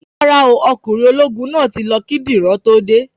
Rárá o, Ọkùnrin ológun náà tí lọ kí Dìran tó dé